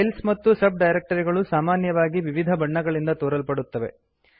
files ಮತ್ತು sub directory ಗಳು ಸಾಮಾನ್ಯವಾಗಿ ವಿವಿಧ ಬಣ್ಣಗಳಿಂದ ತೋರಲ್ಪಡುತ್ತವೆ